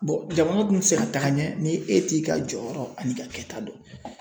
jamana dun ti se ka taga ɲɛ ni e t'i ka jɔyɔrɔ ani ka kɛta dɔn